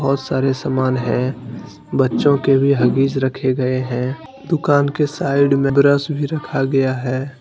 बहुत सारे सामान हैं बच्चों के भी हगीज रखे गए हैं दुकान के साइड में ब्रश भी रखा गया है।